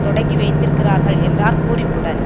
தொடங்கி வைத்திருக்கிறார்கள் என்றார் பூரிப்புடன்